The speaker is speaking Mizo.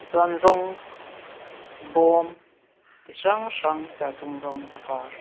chuan rawng bawm ti hrang hrang serthlum rawng a var.